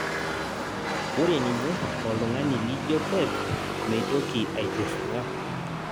ore ninye oltnung'ani lijo pep meitoki aitirring'a